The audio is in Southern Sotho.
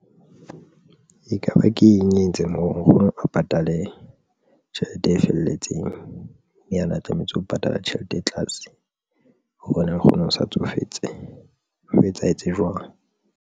Ekaba ke eng e entseng hore nkgono a patale tjhelete e felletseng ana tlametse ho patala tjhelete e tlase hobane nkgono o sa tsofetse ho etsahetse jwang?